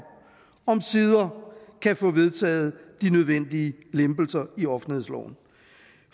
omsider kan få vedtaget de nødvendige lempelser i offentlighedsloven